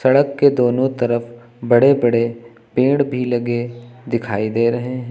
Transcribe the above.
सड़क के दोनों तरफ बड़े बड़े पेड़ भी लगे दिखाई दे रहे हैं।